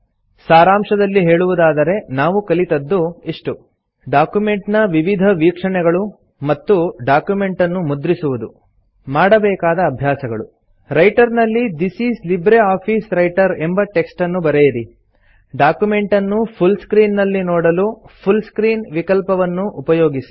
ಸಾರಾಂಶದಲ್ಲಿ ಹೇಳುವುದಾದರೆ ನಾವು ಕಲಿತದ್ದು ಇಷ್ಟು ಡಾಕ್ಯುಮೆಂಟ್ ನ ವಿವಿಧ ವೀಕ್ಷಣೆಗಳು ಮತ್ತು ಡಾಕ್ಯುಮೆಂಟ್ ಅನ್ನು ಮುದ್ರಿಸುವುದು ಮಾಡಬೇಕಾದ ಅಭ್ಯಾಸಗಳು160 ರೈಟರ್ ನಲ್ಲಿ this is LibreOffice writer ಎಂಬ ಟೆಕ್ಸ್ಟ್ ಅನ್ನು ಬರೆಯಿರಿ ಡಾಕ್ಯುಮೆಂಟ್ ಅನ್ನು ಫುಲ್ ಸ್ಕ್ರೀನ್ ನಲ್ಲಿ ನೋಡಲು ಫುಲ್ ಸ್ಕ್ರೀನ್ ವಿಕಲ್ಪವನ್ನು ಉಪಯೋಗಿಸಿ